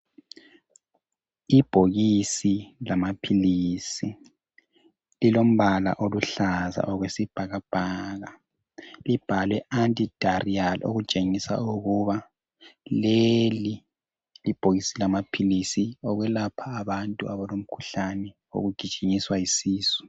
Ibhokisi lamaphilisi lilombala oluhlaza okwesibhakabhaka libhalwe anti diarrheal okutshengisa ukuthi leli libhokisi lamaphilisi lokwelapha abantu abalomkhuhlane wokugijinyiswa yisisu.